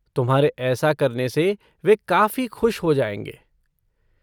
तुम्हारे ऐसा करने से वे काफ़ी खुश हो जाएँगे।